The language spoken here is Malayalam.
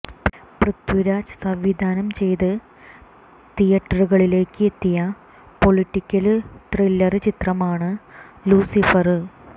പൃഥ്വിരാജ് സംവിധാനം ചെയ്ത് തിയറ്റുകളിലേക്ക് എത്തിയ പൊളിറ്റിക്കല് ത്രില്ലര് ചിത്രമാണ് ലൂസിഫര്